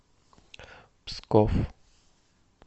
псков